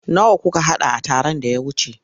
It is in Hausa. Nawa kuka haɗa a taron da ya wuce?